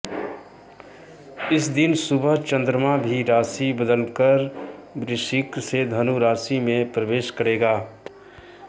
इस दिन सुबह चंद्रमा भी राशि बदलकर वृश्चिक से धनु राशि में प्रवेश करेगा